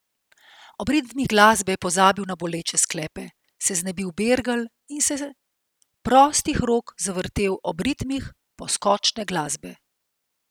Ob ritmih glasbe je pozabil na boleče sklepe, se znebil bergel in se prostih rok zavrtel ob ritmih poskočne glasbe.